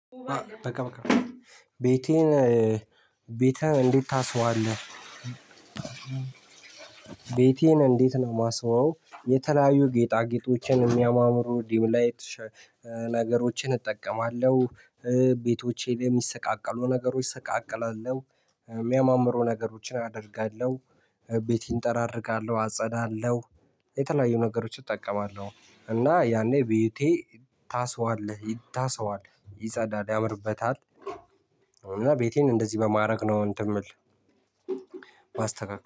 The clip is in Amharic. በቃ በቃ ቤቴን ቤት እንዴት ታስውባለህ? ቤቴን እንዴት ነው የማስውበው የተለያዩ ጌጣጌጦችን የሚያማምሩ ዲምላይት ነገሮችን እጠቀማለሁ። ቤቶቼ የሚሰቃቀሉ ነገሮች እሰቃቅላለሁ የሚያማምሩ ነገሮችን አደርጋለሁ ቤቴን እጠራርጋለሁ አጸዳለሁ። የተለያዩ ነገሮች እጠቀማለሁ እና ያኔ ቤቴ ታስውባለህ ይታስዋል ይጸዳል ያምርበታል። እና ቤቴን እንደዚህ በማድረግ ነው እንትን የምል። ማስተካክል